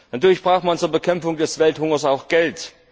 Natürlich braucht man zur Bekämpfung des Welthungers auch Geld.